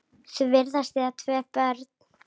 Þau virðast eiga tvö börn.